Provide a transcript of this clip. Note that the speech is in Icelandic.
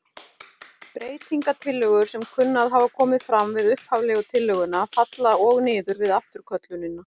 Breytingatillögur sem kunna að hafa komið fram við upphaflegu tillöguna falla og niður við afturköllunina.